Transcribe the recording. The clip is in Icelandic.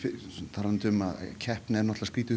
talandi um að keppni er